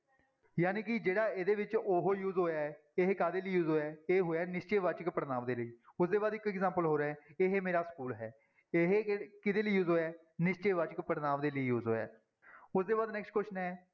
ਜਾਣੀ ਕਿ ਜਿਹੜਾ ਇਹਦੇ ਵਿੱਚ ਉਹ use ਹੋਇਆ ਹੈ ਇਹ ਕਾਹਦੇ ਲਈ use ਹੋਇਆ ਹੈ, ਇਹ ਹੋਇਆ ਹੈ ਨਿਸ਼ਚੈ ਵਾਚਕ ਪੜ੍ਹਨਾਂਵ ਦੇ ਲਈ, ਉਹਦੇ ਬਾਅਦ ਇੱਕ example ਹੋਰ ਹੈ ਇਹ ਮੇਰਾ ਸਕੂਲ ਹੈ, ਇਹ ਕਿਹ ਕਿਹਦੇੇ ਲਈ use ਹੋਇਆ ਹੈ, ਨਿਸ਼ਚੈ ਵਾਚਕ ਪੜ੍ਹਨਾਂਵ ਦੇ ਲਈ use ਹੋਇਆ ਹੈ, ਉਹਦੇ ਬਾਅਦ next question ਹੈ,